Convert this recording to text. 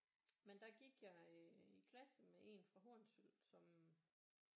Men der gik jeg i klasse med en fra Hornsyld som øh